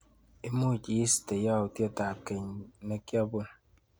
Imuch iiste yautyetap keny nikiapun?